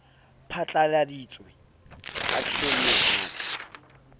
phatlaladitswe a tjhonne a ka